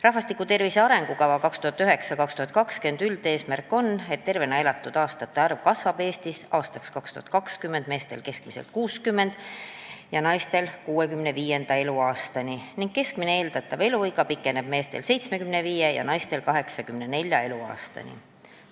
"Rahvastiku tervise arengukava 2009–2020" üldeesmärk on, et tervena elatud aastate arv kasvaks Eestis aastaks 2020 meestel keskmiselt 60. ja naistel 65. eluaastani ning keskmine eeldatav eluiga pikeneks meestel 75. ja naistel 84. eluaastani.